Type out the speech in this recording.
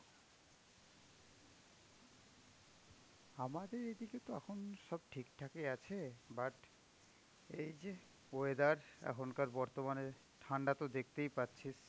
আমাদের এদিকে তো এখন সব ঠিকঠাকই আছে. but এই যে weather এখনকার বর্তমানের ঠান্ডা তো দেখতেই পারছিস.